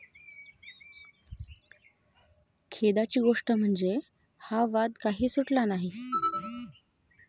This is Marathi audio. खेदाची गोष्ट म्हणजे, हा वाद काही सुटला नाही.